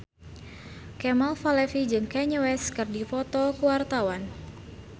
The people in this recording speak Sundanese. Kemal Palevi jeung Kanye West keur dipoto ku wartawan